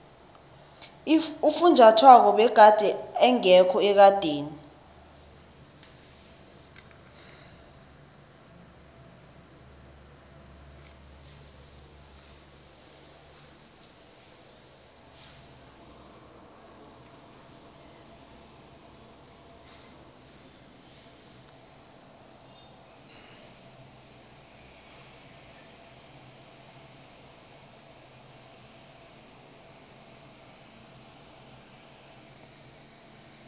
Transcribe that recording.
ufunjathwako begade engekho ekadeni